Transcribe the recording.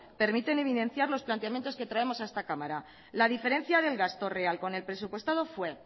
permiten evidenciar los planteamientos que traemos a esta cámara la diferencia del gasto real con el presupuestado fue